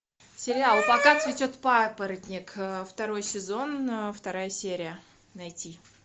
сериал пока цветет папоротник второй сезон вторая серия найти